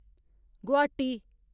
Guwahati